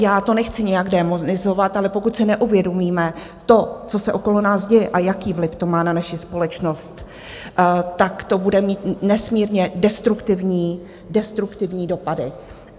Já to nechci nijak démonizovat, ale pokud si neuvědomíme to, co se okolo nás děje a jaký vliv to má na naši společnost, tak to bude mít nesmírně destruktivní dopady.